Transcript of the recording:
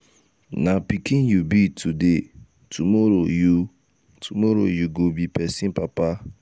na pikin you be today tomorrow you tomorrow you go be pesin papa.